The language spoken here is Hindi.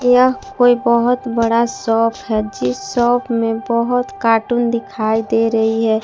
यह कोई बहोत बड़ा शॉप है जीस शॉप में बहोत कार्टून दिखाई दे रही है।